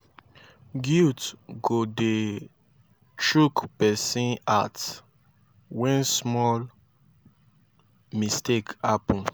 guilt go dey chook pesin heart wen small mistake hapun